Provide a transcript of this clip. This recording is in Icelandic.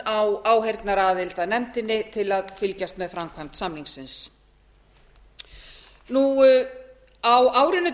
grænland á áheyrnaraðild að nefndinni til að fylgjast með framkvæmd samningsins á árinu tvö